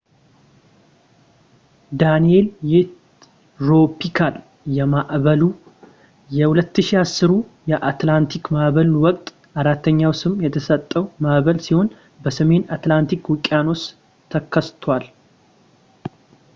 ዳኒኤል የትሮፒካል ማዕበሉ የ2010ሩ የአትላንቲክ ማዕበል ወቅት አራተኛው ስም የተሰጠው ማዕበል ሲሆን በሰሜን አትላንቲክ ውቅያኖስ ተከስቷል